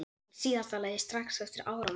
Í síðasta lagi strax eftir áramót.